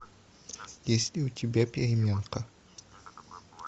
есть ли у тебя переменка